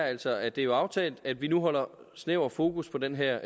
altså at det jo er aftalt at vi nu holder snævert fokus på den her